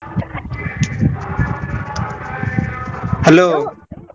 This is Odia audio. Hello ।